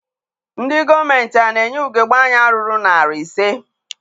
Ndị gọọmenti a na-enye ugebe anya ruru narị ise?